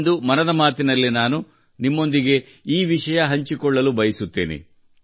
ಇಂದು ಮನದ ಮಾತಿನಲ್ಲಿ ನಾನು ನಿಮ್ಮೊಂದಿಗೆ ಈ ವಿಷಯ ಹಂಚಿಕೊಳ್ಳಲು ಬಯಸುತ್ತೇನೆ